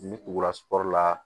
Ni tugula sɔri la